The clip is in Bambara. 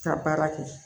Ka baara kɛ